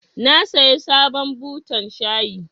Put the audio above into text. Na saya sabon butan shayi.